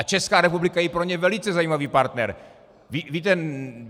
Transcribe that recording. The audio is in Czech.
A Česká republika je pro ně velice zajímavý partner.